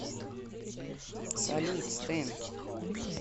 салют стэн